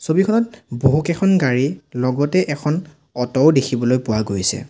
ছবিখনত বহুকেইখন গাড়ী লগতে এখন অট' ও দেখিবলৈ পোৱা গৈছে।